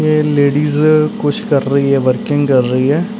ਇਹ ਲੇਡੀਜ ਕੁਛ ਕਰ ਰਹੀ ਹੈ ਵਰਕਿੰਗ ਕਰ ਰਹੀ ਹੈ।